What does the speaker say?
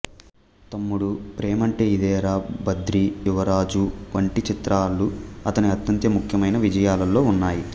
తమ్ముడు ప్రేమంటే ఇదేరా బద్రి యువరాజు వంటి చిత్రాలు అతని అత్యంత ముఖ్యమైన విజయాలలో ఉన్నాయి